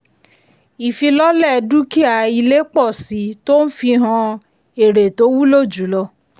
ìfilọ́lẹ̀ dúkìá-ilé pọ̀ síi tó ń fihan èrè tó wúlò jùlọ.